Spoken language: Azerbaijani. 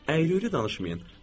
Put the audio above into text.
Əyri-üyrü danışmayın.